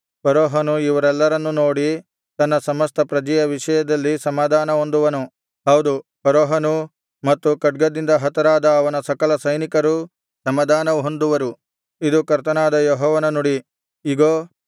ಫರೋಹನು ಇವರೆಲ್ಲರನ್ನೂ ನೋಡಿ ತನ್ನ ಸಮಸ್ತ ಪ್ರಜೆಯ ವಿಷಯದಲ್ಲಿ ಸಮಾಧಾನ ಹೊಂದುವನು ಹೌದು ಫರೋಹನೂ ಮತ್ತು ಖಡ್ಗದಿಂದ ಹತರಾದ ಅವನ ಸಕಲ ಸೈನಿಕರೂ ಸಮಾಧಾನ ಹೊಂದುವರು ಇದು ಕರ್ತನಾದ ಯೆಹೋವನ ನುಡಿ